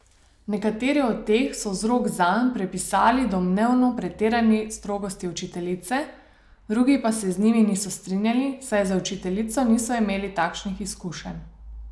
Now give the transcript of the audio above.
Nekateri od teh so vzrok zanj pripisali domnevno pretirani strogosti učiteljice, drugi pa se z njimi niso strinjali, saj z učiteljico niso imeli takšnih izkušenj.